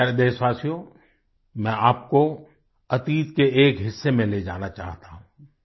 मेरे प्यारे देशवासियो मैं आपको अतीत के एक हिस्से में ले जाना चाहता हूँ